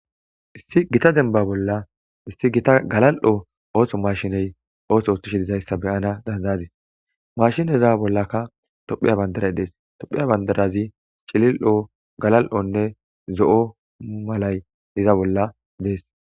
issi gita denba bolla issi gita galal7o ooso mashiney ooso ostishe dizayssa beyana dandaazis mashineza bollakka tophiya bandaray dees tophiya bandarazi cilil7o galal7onne zo7o malay iza bolla dees